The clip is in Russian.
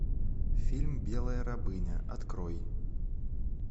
фильм белая рабыня открой